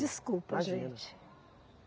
Desculpa, gente. Imagina.